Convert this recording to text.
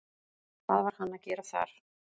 Hvað var hann að gera þar?